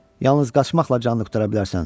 Yalnız qaçmaqla canını qurtara bilərsən.